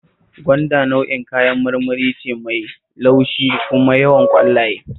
Gwanda nau'in kayan marmari ce mai laushi kuma yawan ƙwallaye